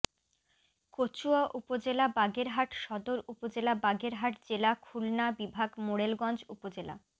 কচুয়া উপজেলা বাগেরহাট সদর উপজেলা বাগেরহাট জেলা খুলনা বিভাগ মোড়েলগঞ্জ উপজেলা